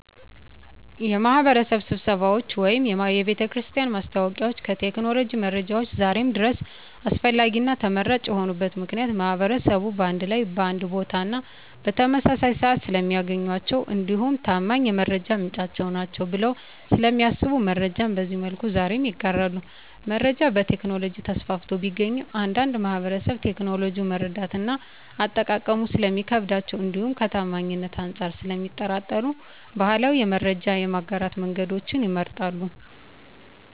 የማህበረሰብ ስብሰባዎች ወይም የቤተክርስቲያን ማስታወቂያዎች ከቴክኖሎጂ መረጃዎች ዛሬም ድረስ አስፈላጊና ተመራጭ የሆኑበት ምክንያት ማህበረሰቡን በአንድ ላይ በአንድ ቦታና በተመሳሳይ ስዓት ስለሚያገኟቸው እንዲሁም ታማኝ የመረጃ ምንጭ ናቸዉ ብለው ስለሚያስቡ መረጃን በዚህ መልኩ ዛሬም ይጋራሉ። መረጃ በቴክኖሎጂ ተስፋፍቶ ቢገኝም አንዳንድ ማህበረሰብ ቴክኖሎጂውን መረዳትና አጠቃቀሙ ስለሚከብዳቸው እንዲሁም ከታማኝነት አንፃር ስለሚጠራጠሩ ባህላዊ የመረጃ የማጋራት መንገዶችን ይመርጣሉ።